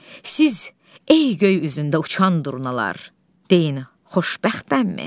Siz, ey göy üzündə uçan durnalar, deyin xoşbəxtəmmi?